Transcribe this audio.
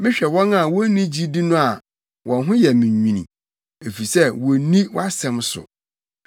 Mehwɛ wɔn a wonni gyidi no a wɔn ho yɛ me nwini, efisɛ wonni wʼasɛm so.